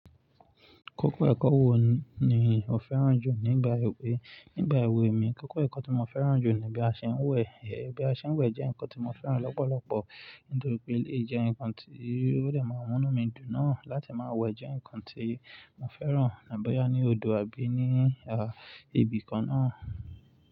Kókó ẹ̀kọ́ wo ni o fẹ́ràn jù nígbà èwe? Nígbà èwe mi, kókó ẹ̀kọ́ tí mo fẹ́ràn jù ni bí a ṣe ń wẹ̀. Ẹbí a ṣe ń wẹ̀ jẹ́ ǹkan tí mo fẹ́ràn lọ́pọ̀lọpọ̀, nítorí pé elé yí jẹ́ ǹkan tí ó dẹ̀ máa mú inú mi dùn náà. Láti máa wẹ̀ jẹ́ ǹkan tí mo fẹ́ràn ní àbọ́yá ní odò àbí ní, à, ibi kan náà.